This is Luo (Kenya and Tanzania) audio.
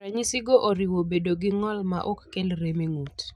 Ranyisigo oriwo bedo gi ng'ol maok kel rem e ng'ut.